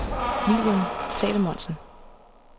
William Salomonsen